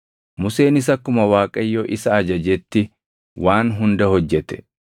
Museenis akkuma Waaqayyo isa ajajetti waan hunda hojjete.